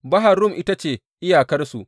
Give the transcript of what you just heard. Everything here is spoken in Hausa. Bahar Rum ita ce iyakarsu.